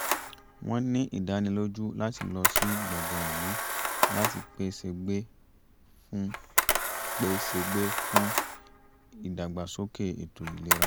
wọ́n ní ìdánilójú láti lọ sí gbọ̀ngàn ìlú láti pè ṣègbè fún pè ṣègbè fún ìdàgbásókè ètò ìlera